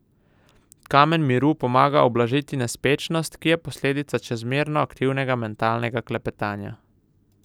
Kamen miru pomaga ublažiti nespečnost, ki je posledica čezmerno aktivnega mentalnega klepetanja.